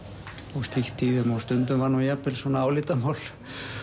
og slíkt í þeim stundum var jafnvel álitamál